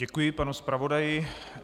Děkuji panu zpravodaji.